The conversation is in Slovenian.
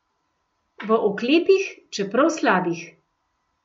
V oklepih, čeprav slabih.